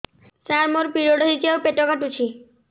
ସାର ମୋର ପିରିଅଡ଼ ହେଇଚି ଆଉ ପେଟ କାଟୁଛି